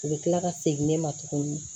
U bɛ kila ka segin ne ma tuguni